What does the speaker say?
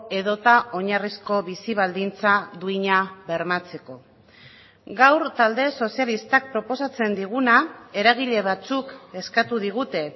edota oinarrizko bizi baldintza duina bermatzeko gaur talde sozialistak proposatzen diguna eragile batzuk eskatu digute